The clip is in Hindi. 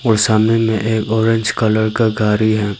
और सामने में एक ऑरेंज कलर का गाड़ी है।